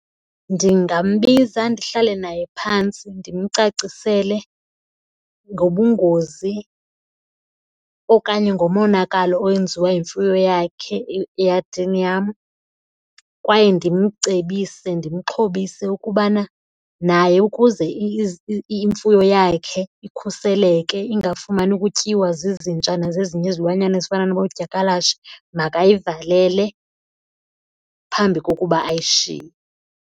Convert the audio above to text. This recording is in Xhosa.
Ndingambiza ndihlale naye phantsi ndimcacisele ngobungozi okanye ngomonakalo owenziwa yimfuyo yakhe eyadini yam. Kwaye ndimcebise ndimxhobise ukubana naye ukuze imfuyo yakhe ikhuseleke ingafumani ukutyiwa zizinja nazezinye izilwanyana ezifana noodyakalashe makayivalele phambi kokuba ayishiye.